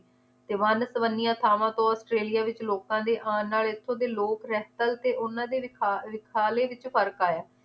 ਤੇ ਵੰਨ ਸਵੰਨੀਆਂ ਥਾਵਾਂ ਤੋਂ ਔਸਟ੍ਰੇਲਿਆ ਵਿਚ ਲੋਕਾਂ ਦੇ ਆਨ ਨਾਲ ਇਥੋਂ ਦੇ ਲੋਕ ਰਹਿਤਰ ਤੇ ਉਹਨਾਂ ਦੇ ਰਿਖਾ~ ਰਿਖਾਲੇ ਵਿਚ ਫਰਕ ਆਇਆ ਏ